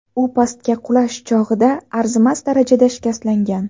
U pastga qulash chog‘ida arzimas darajada shikastlangan.